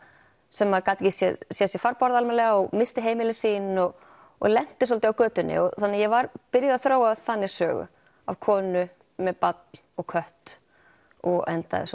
sem gat ekki séð séð sér farborða almennilega og missti heimili sín og og lennti svolítið á götunni þannig ég var byrjuð að þróa þannig sögu af konu með barn og kött og endaði